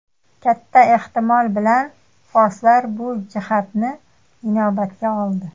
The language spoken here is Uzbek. Katta ehtimol bilan forslar bu jihatni inobatga oldi.